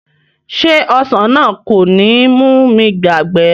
Ṣé ọsàn náà kò ní mú mi yàgbẹ̀?